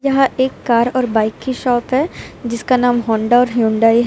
यह एक कार और बाइक की शॉप है जिसका नाम होंडा और ह्युंडई --